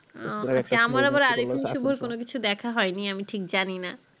আমার আবার হিসাবে কোনো কিছু দেখা হয় নি আমি ঠিক জানি না